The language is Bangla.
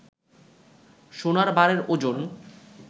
সোনার বারের ওজন